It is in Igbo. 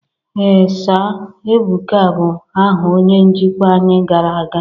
ee Sir, Ebuka bụ aha onye njikwa anyị gara aga